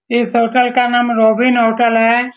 इस होटल का नाम रोबिन होटल है।